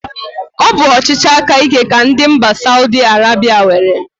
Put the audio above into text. Ọ bụ ọchịchị aka íké ka ndị mba Saudi Arebia nwere.